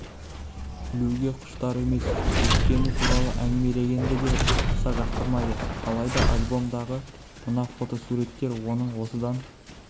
ілуге құштар емес өткені туралы әңгімелегенді де аса жақтырмайды алайда альбомдағы мына фотосуреттер оның осыдан